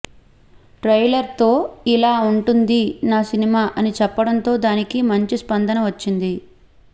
ట్రైలర్తో ఇలా ఉంటుంది నా సినిమా అని చెప్పడంతో దానికి మంచి స్పందన వచ్చింది